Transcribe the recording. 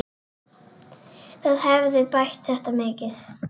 Það hefði bætt þetta mikið.